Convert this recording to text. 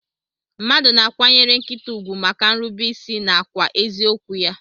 Mmadu na akwanyere nkita ugwu maka nrube isi nakwa ezi okwu ya.